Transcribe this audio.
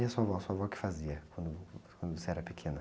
E a sua avó, sua avó o que fazia quando, quando você era pequena?